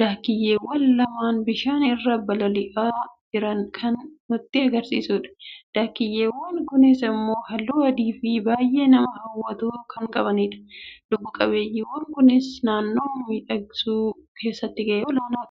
daakiyyeewwan lamaan bishaan irra bololi'aa jiran kan nutti agarsiisudha. daakiyyeewwan kunis immoo halluu adiifi baay'ee nama hawwatu kan qabanidha. lubbu-qabeeyyiiwwan kunis naannoo miidhagsuu keessatti gahee olaanaa kan qabanidha.